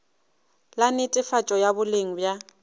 la netefatšo ya boleng bja